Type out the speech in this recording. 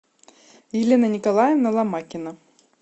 елена николаевна ломакина